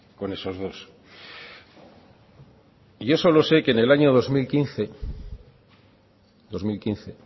con esos dos yo solo sé que en el año dos mil quince